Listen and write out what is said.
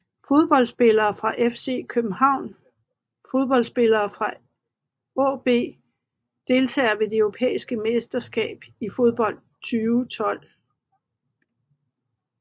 Fodboldspillere fra FC København Fodboldspillere fra AaB Deltagere ved det europæiske mesterskab i fodbold 2012